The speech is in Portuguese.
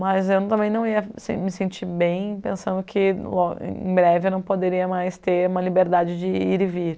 Mas eu também não ia me me sentir bem pensando que em breve eu não poderia mais ter uma liberdade de ir e vir.